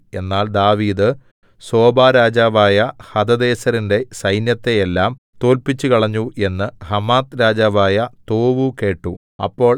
എന്നാൽ ദാവീദ് സോബാരാജാവായ ഹദദേസെരിന്റെ സൈന്യത്തെയെല്ലാം തോല്പിച്ചുകളഞ്ഞു എന്നു ഹമാത്ത്‌ രാജാവായ തോവൂ കേട്ടു അപ്പോൾ